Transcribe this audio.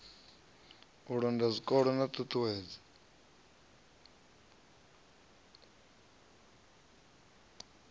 u londa zwikolo na ṱhuṱhuwedzo